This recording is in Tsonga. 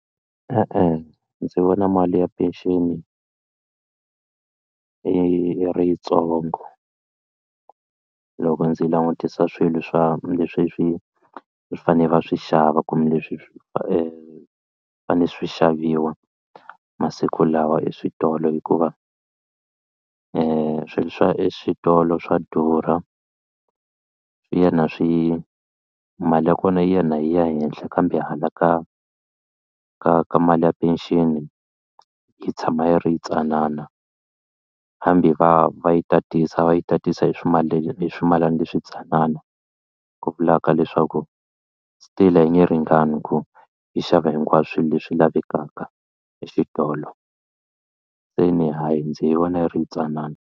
E-e ndzi vona mali ya pension i yi ri yitsongo loko ndzi langutisa swilo swa leswi swi faneleke va swi xava kumbe leswi i swi fanele swi xaviwa masiku lawa eswitolo hikuva swilo swa eswitolo swa durha ina swi mali ya kona yi ya na yi ya henhla kambe hala ka ka ka mali ya pension yi tshama yi ri tsanana hambi va va yi tatisa va yi tatisa hi swimalana hi swimalana leswi ntsanana ku vulaka leswaku still a yi nge ringani ku yi xava hinkwaswo leswi lavekaka exitolo se ni hayi ndzi yi vona yi ri tsanana.